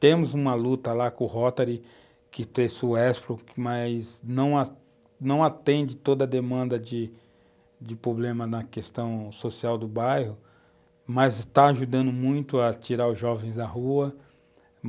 Temos uma luta lá com o Rotary, que, mas não, não atende toda a demanda de problemas na questão social do bairro, mas está ajudando muito a tirar os jovens da rua.